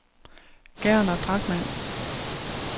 Gerner Drachmann